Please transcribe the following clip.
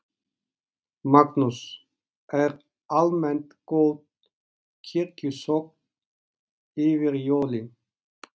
Magnús: Er almennt góð kirkjusókn yfir jólin?